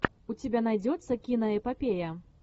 у тебя найдется киноэпопея